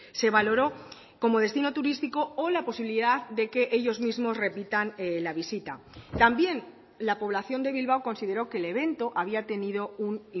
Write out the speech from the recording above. se valoró como destino turístico o la posibilidad de que ellos mismos repitan la visita también la población de bilbao consideró que el evento había tenido un